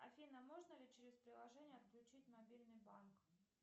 афина можно ли через приложение отключить мобильный банк